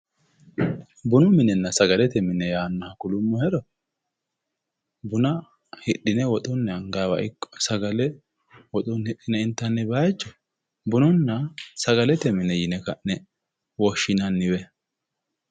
bunu minenna sagalete mine yaannoha kulummohero buna hidhine woxunni anganniwa ikko sagale woxunni hidhine intanni bayiicho bununna sagalete mine yine woshshinanniwe.